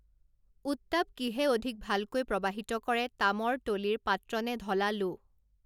উত্তাপ কিহে অধিক ভালকৈ প্ৰৱাহিত কৰে তামৰ তলিৰ পাত্ৰ নে ঢলা লো